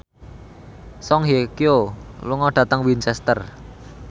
Song Hye Kyo lunga dhateng Winchester